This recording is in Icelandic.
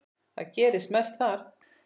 Það gerist mest þar.